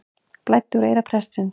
Blæddi úr eyra prestsins